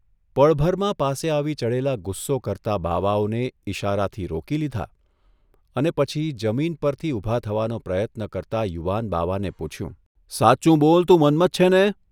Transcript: પળભરમાં પાસે આવી ચઢેલા ગુસ્સો કરતા બાવાઓને ઇશારાથી રોકી લીધા અને પછી જમીન પરથી ઊભા થવાનો પ્રયત્ન કરતા યુવાન બાવાને પૂછ્યું, ' સાચુ બોલ તું મન્મથ છે ને?